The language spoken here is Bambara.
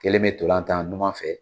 Kelen be ntolan tan numan fɛ